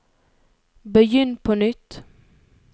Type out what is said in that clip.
begynn på nytt